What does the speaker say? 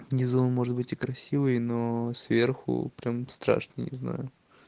не знаю может быть и красивый но сверху прям страшно не знаю